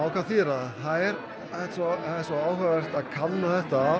hvað þýðir það það er svo áhugavert að kanna þetta